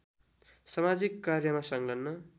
समाजिक कार्यमा संलग्न